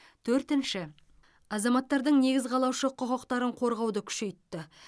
төртінші азаматтардың негіз қалаушы құқықтарын қорғауды күшейтті